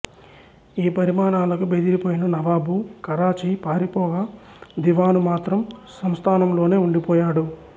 ఈ పరిణామాలకు బెదిరిపోయిన నవాబు కరాచీ పారిపోగా దివాను మాత్రం సంస్థానంలోనే ఉండిపోయాడు